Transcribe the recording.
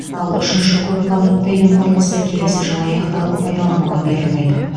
ал үшінші көп қабатты үйдің құрылысы келесі жылы аяқталып пайдалануға берілмек